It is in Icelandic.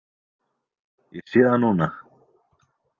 Ég sé það núna.